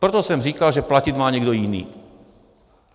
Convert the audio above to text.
Proto jsem říkal, že platit má někdo jiný.